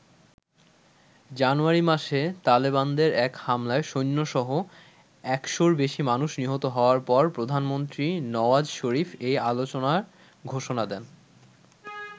জানুয়ারি মাসে তালেবানদের এক হামলায় সৈন্যসহ একশোর বেশি মানুষ নিহত হওয়ার পর প্রধানমন্ত্রী নওয়াজ শরিফ এই আলোচনার ঘোষণা দেন।